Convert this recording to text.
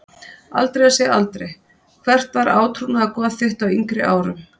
Aldrei að segja aldrei Hvert var átrúnaðargoð þitt á yngri árum?